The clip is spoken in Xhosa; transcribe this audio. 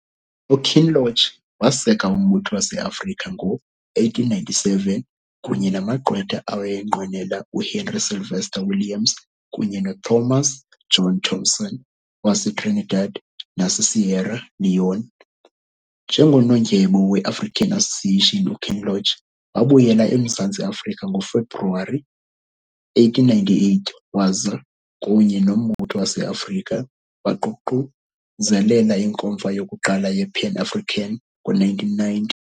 UKinloch waseka uMbutho waseAfrika ngo-1897 kunye namagqwetha awayenqwenela uHenry Sylvester-Williams kunye noThomas John Thompson waseTrinidad naseSierra Leone. Njengonondyebo weAfrican Association, uKinloch wabuyela eMzantsi Afrika ngoFebruwari 1898 waza, kunye noMbutho waseAfrika, waququzelela iNkomfa yokuqala yePan-African ngo-1990.